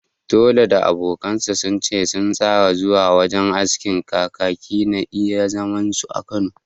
Toli da abokansa sun ce sun tsara zuwa wajen askin Kakaki na iya zaman su a Kano